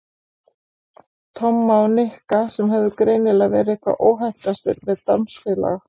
Tomma og Nikka sem höfðu greinilega verið hvað óheppnastir með dansfélaga.